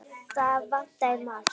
Það vantaði margt.